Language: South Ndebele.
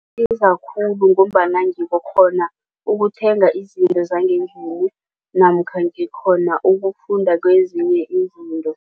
khulu ngombana ngikghona ukuthenga izinto zangendlini namkha ngikhona ukufunda kwezinye izinto.